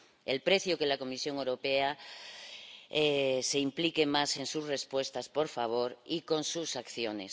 Es preciso que la Comisión Europea se implique más en sus respuestas, por favor, y con sus acciones.